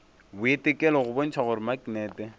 boitekelo go bontšha gore maknete